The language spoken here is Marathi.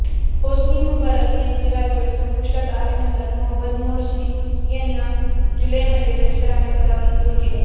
होस्नी मुबारक यांची राजवट संपुष्टात आणल्यानंतर मोहम्मद मोर्सी यांना जुलैमध्ये लष्कराने पदावरून दूर केले